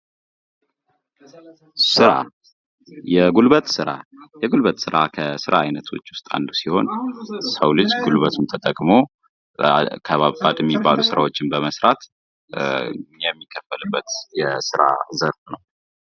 ስራ የጉልበት ስራ ከስራ አይነቶች ውስጥ አንዱ ሲሆን የሰው ልጅ ጉልበቱን ተጠቅሞ ከባባድ የሚባሉ ስራዎችን በመስራት የሚከፈልበት የስራ ዘርፍ ነው።